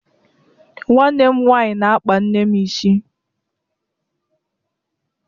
Nwanne m nwaanyị na-akpa nne m isi